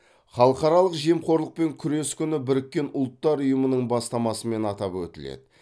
халықаралық жемқорлықпен күрес күні біріккен ұлттар ұйымының бастамасымен атап өтіледі